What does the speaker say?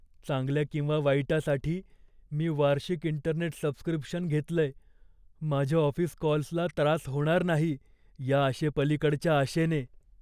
चांगल्या किंवा वाईटासाठी, मी वार्षिक इंटरनेट सबस्क्रिप्शन घेतलंय, माझ्या ऑफिस कॉल्सला त्रास होणार नाही या आशेपलिकडच्या आशेने.